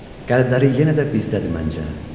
Qəlbləri yenə də bizdədir məncə.